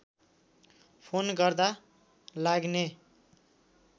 phone गर्दा लाग्ने